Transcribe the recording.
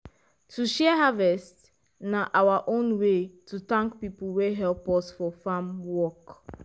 to share harvest na our own way to thank people wey help us for farm work.